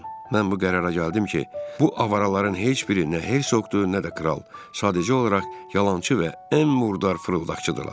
Mən bu qərara gəldim ki, bu avaraların heç biri nə hersoqdur, nə də kral, sadəcə olaraq yalançı və ən murdar fırıldaqçılardır.